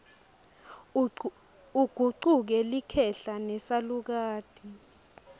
ugucuke likhehla nesalukati